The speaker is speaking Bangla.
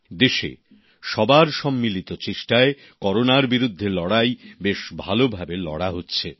দেশে সবার সম্মিলিত চেষ্টায় করোনার বিরুদ্ধে লড়াই বেশ ভালোভাবে লড়া হচ্ছে